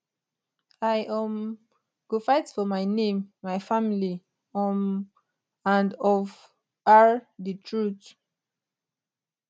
i um go fight for my name my family um and ofr di truth